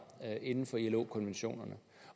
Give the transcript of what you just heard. inden for ilo konventionerne